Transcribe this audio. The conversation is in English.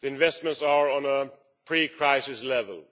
Investments are at a pre crisis level.